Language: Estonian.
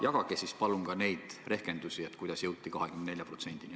Jagage ka palun neid rehkendusi, kuidas jõuti 24%-ni.